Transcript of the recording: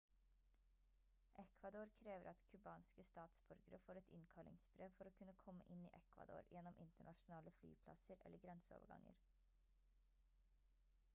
ecuador krever at cubanske statsborgere får et innkallingsbrev for å kunne komme inn i ecuador gjennom internasjonale flyplasser eller grenseoverganger